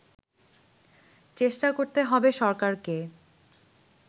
চেষ্টা করতে হবে সরকারকে